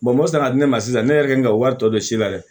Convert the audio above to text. mɔ kan ka di ne ma sisan ne yɛrɛ kɛ n ka wari tɔ de si la dɛ